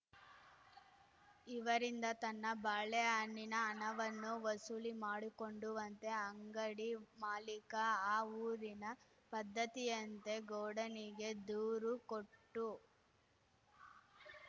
ಇವರಿಂದ ತನ್ನ ಬಾಳೆಹಣ್ಣಿನ ಹಣವನ್ನು ವಸೂಲಿ ಮಾಡಿಕೊಡುಂವಂತೆ ಅಂಗಡಿ ಮಾಲೀಕ ಆ ಊರಿನ ಪದ್ಧತಿಯಂತೆ ಗೌಡನಿಗೆ ದೂರು ಕೊಟ್ಟು